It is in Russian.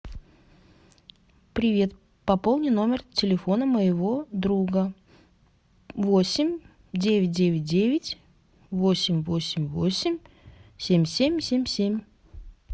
привет пополни номер телефона моего друга восемь девять девять девять восемь восемь восемь семь семь семь семь